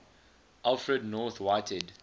alfred north whitehead